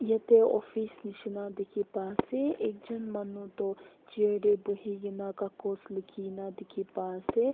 Yate office nishina dikhi pai ase ekjun manu toh chair te buhi kena kakos likhi kena dikhi pai ase.